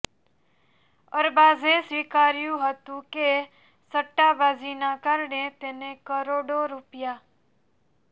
અરબાઝે સ્વીકાર્યું હતું કે સટ્ટાબાજીના કારણે તેને કરોડો રૂ